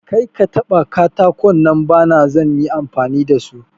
Karka taba katakon nan bana zan yi amfani da su.